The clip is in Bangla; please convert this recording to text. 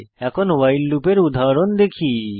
এখন ভাইল লুপের উদাহরণ দেখি